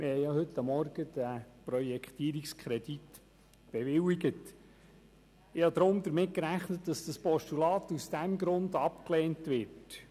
Heute Morgen haben wir denn diesen Projektierungskredit bewilligt, und ich habe damit gerechnet, dass mein Postulat aus diesem Grund abgelehnt wird.